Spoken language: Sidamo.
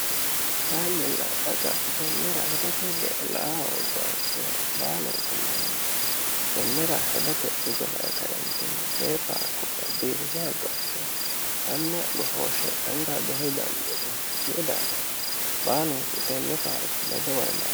kainnilladhaqa tennera hedo tugglaoggowacira baalunku manni tennera hedote hugela e kaintinni tee paarkuba biifiso haggo akkino manna gohooshe magira behe dannianni kui daafino baalunku tenne paarku medo wolila